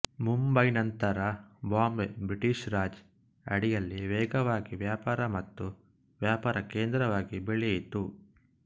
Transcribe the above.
ಮುಂಬೈ ನಂತರ ಬಾಂಬೆ ಬ್ರಿಟಿಷ್ ರಾಜ್ ಅಡಿಯಲ್ಲಿ ವೇಗವಾಗಿ ವ್ಯಾಪಾರ ಮತ್ತು ವ್ಯಾಪಾರ ಕೇಂದ್ರವಾಗಿ ಬೆಳೆಯಿತು